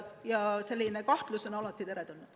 Aga kahtlused on alati teretulnud.